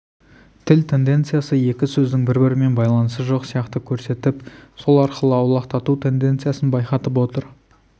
тіл тенденциясы екі сөздің бір-бірімен байланысы жоқ сияқты көрсетіп сол арқылы аулақтату тенденциясын байқатып отыр